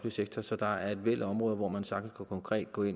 sektor så der er et væld af områder hvor man sagtens konkret kunne